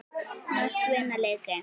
Mörk vinna leiki.